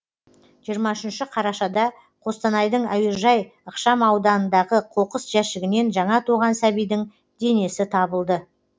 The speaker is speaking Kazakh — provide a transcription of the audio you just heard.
жиырма үшінші қарашада қостанайдың әуежай ықшам ауданындағы қоқыс жәшігінен жаңа туған сәбидің денесі табылды